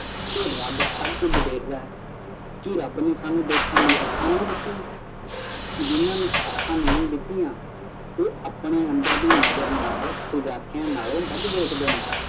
ਕੇ ਰੱਬ ਸਭ ਕੁਝ ਦੇਖਦਾ ਹੈ ਕੇ ਰੱਬ ਨੇ ਸਾਨੂੰ ਦੇਖਣ ਲਈ ਔਖਾ ਨਹੀਂ ਦਿੱਤੀਆਂ ਜਿੰਨਾਂ ਨੂੰ ਅਖਾਂ ਨਹੀਂ ਦਿੱਤੀਆਂ ਉਹ ਆਪਣੇ ਅੰਦਰ ਦੀ ਨਜ਼ਰ ਨਾਲ ਸੁਜਾਖੀਆਂ ਨਾਲੋਂ ਵੱਧ ਦੇਖਦੇ ਨੇ